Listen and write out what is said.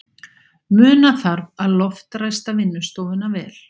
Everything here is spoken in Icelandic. Muna þarf að loftræsta vinnustofuna vel.